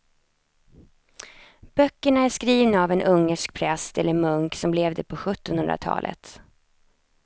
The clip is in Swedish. Böckerna är skrivna av en ungersk präst eller munk som levde på sjuttonhundratalet.